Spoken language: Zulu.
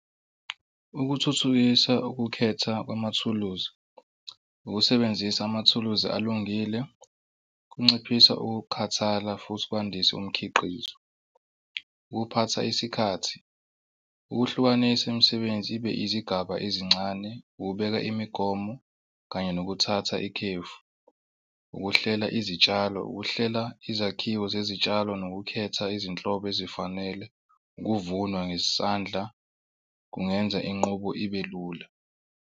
Ukuthuthukisa ukukhetha kwamathuluzi ukusebenzisa amathuluzi alungile kunciphisa ukukhathala futhi kwandise umkhiqizo. Ukuphatha isikhathi, ukuhlukanisa imisebenzi ibe izigaba ezincane, ukubeka imigomo kanye nokuthatha ikhefu, ukuhlela izitshalo, ukuhlela izakhiwo zezitshalo nokukhetha izinhlobo ezifanele. Ukuvunwa ngesandla kungenza inqubo ibe lula.